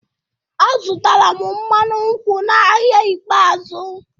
M zụtara mmanụ nkwụ n'ahịa ikpeazụ.